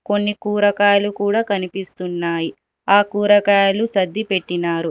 కొన్ని కూరగాయలు కూడా కనిపిస్తున్నాయి ఆ కూరగాయలు సద్ది పెట్టినారు.